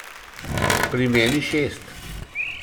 Pri meni šest.